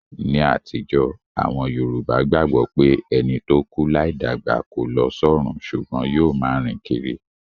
Ní àtijó, àwon Yorùbá gbagbo pé ẹni to kú láì dàgbà ko lo sọrun sùgbón yio ma rìn kírí